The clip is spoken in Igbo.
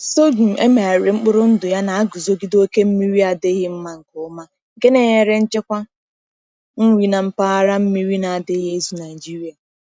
Sorghum e megharịrị mkpụrụ ndụ ya na-aguzogide oke mmiri adịghị mma nke ọma, nke na-enyere nchekwa nri na mpaghara mmiri na-adịghị ezu Nigeria.